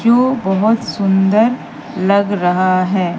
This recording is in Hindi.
जो बहोत सुंदर लग रहा हैं।